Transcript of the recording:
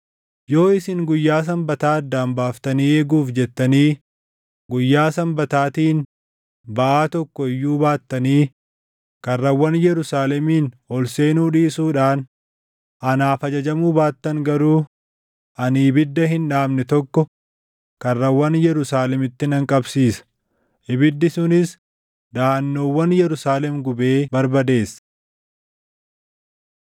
Yoo isin guyyaa Sanbataa addaan baaftanii eeguuf jettanii guyyaa Sanbataatiin baʼaa tokko iyyuu baattanii karrawwan Yerusaalemiin ol seenuu dhiisuudhaan anaaf ajajamuu baattan garuu ani ibidda hin dhaamne tokko karrawwan Yerusaalemitti nan qabsiisa; ibiddi sunis daʼannoowwan Yerusaalem gubee barbadeessa.’ ”